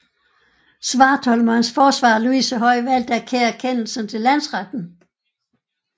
Svartholm og hans forsvarer Luise Høj valgte at kære kendelsen til Landsretten